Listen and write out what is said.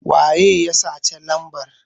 waye ya saci lambar?